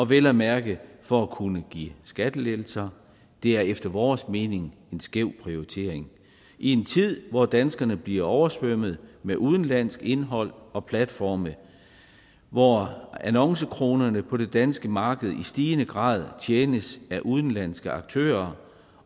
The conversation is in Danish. vel at mærke for at kunne give skattelettelser det er efter vores mening en skæv prioritering i en tid hvor danskerne bliver oversvømmet med udenlandsk indhold og platforme og hvor annoncekronerne på det danske marked i stigende grad tjenes af udenlandske aktører